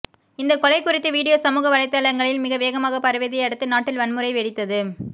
இந்த கொலை குறித்த வீடியோ சமூக வலைதளங்களில் மிக வேகமாக பரவியதை அடுத்து நாட்டில் வன்முறை வெடித்தது